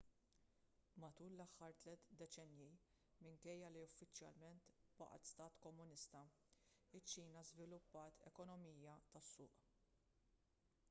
matul l-aħħar tliet deċennji minkejja li uffiċjalment baqgħet stat komunista iċ-ċina żviluppat ekonomija tas-suq